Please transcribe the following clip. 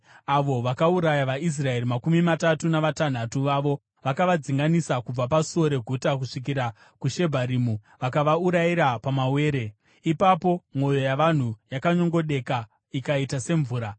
avo vakauraya vaIsraeri makumi matatu navatanhatu vavo. Vakavadzinganisa kubva pasuo reguta kusvikira kuShebharimu vakavaurayira pamawere, ipapo mwoyo yavanhu yakanyongodeka ikaita semvura.